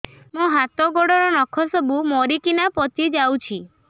ମୋ ହାତ ଗୋଡର ନଖ ସବୁ ମରିକିନା ପଚି ଯାଉଛି